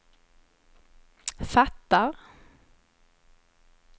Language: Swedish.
fattar